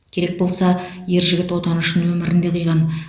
керек болса ер жігіт отаны үшін өмірін де қиған